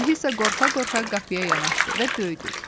Alisa qorxa-qorxa qapıya yanaşdı və döydü.